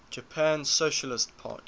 japan socialist party